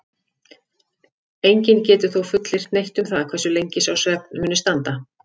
Enginn getur þó fullyrt neitt um það hversu lengi sá svefn muni standa.